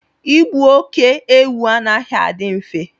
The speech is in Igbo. ịgbu óké-ewu anaghị adị mfe